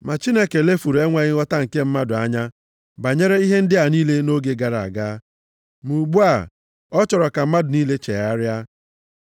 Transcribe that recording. Ma Chineke lefuru enweghị nghọta nke mmadụ anya banyere ihe ndị a niile nʼoge gara aga. Ma ugbu a, ọ chọrọ ka mmadụ niile chegharịa.